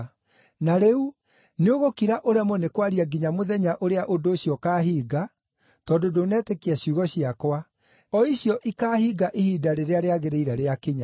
Na rĩu nĩũgũkira ũremwo nĩ kwaria nginya mũthenya ũrĩa ũndũ ũcio ũkaahinga, tondũ ndũnetĩkia ciugo ciakwa, o icio ikaahinga ihinda rĩrĩa rĩagĩrĩire rĩakinya.”